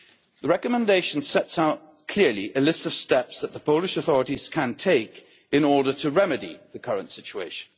The recommendation sets out clearly a list of steps that the Polish authorities can take in order to remedy the current situation.